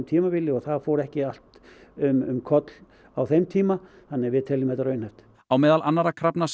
tímabili og það fór ekki allt um koll á þeim tíma þannig að við teljum þetta raunhæft á meðal annarra krafna